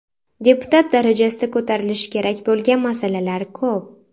Deputat darajasida ko‘tarilishi kerak bo‘lgan masalalar ko‘p.